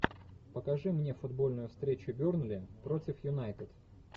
покажи мне футбольную встречу бернли против юнайтед